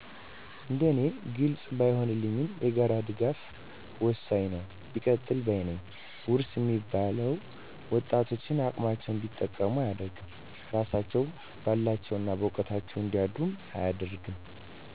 እንደ እኔ ግልፅ ባይንልኝም የጋራ ድጋፍ ወሠኝ ነው ቢቀጥል ባይ ነኝ ውርስ እሚባለው ወጣቶችን አቅማቸውን እንዲጠቀሙ አደርግም እራሳቸው በላባቸው እና በውቀታቸው እንዲያድሩ አያደርግም።